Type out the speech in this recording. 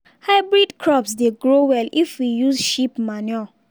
hybrid crops dey grow well if we use sheep manure.